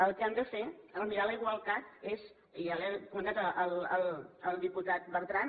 el que hem de fer en mirar la igualtat és i ja li ho ha comentat el diputat bertran